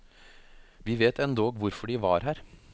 Vi vet endog hvorfor de var her.